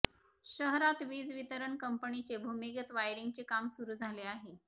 शहरात वीज वितरण कंपनीचे भूमिगत वायरिंगचे काम सुरू झाले आहे